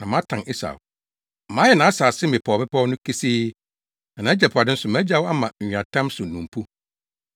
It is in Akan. na matan Esau, mayɛ nʼasase mmepɔwmmepɔw no kesee, na nʼagyapade nso magyaw ama nweatam so nnompo.”